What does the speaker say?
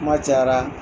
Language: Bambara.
Kuma cayara